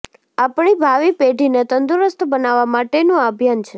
આપણી ભાવિપેઢીને તંદુરસ્ત બનાવવા માટેનું આ અભિયાન છે